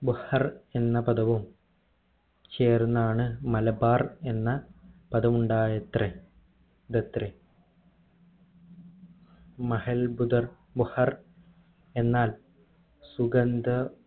ബഹർ എന്ന പദവും ചേർന്നാണ് മലബാർ എന്ന പദമുണ്ടായത്രേ തത്രെ മഹാത്ഭുദർ ബഹ്ർ എന്നാൽ സുഗന്ധ